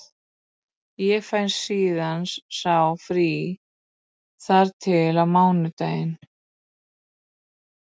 Ég fæ síðan sá frí þar til á mánudaginn.